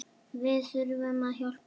Við þurfum að hjálpa þeim.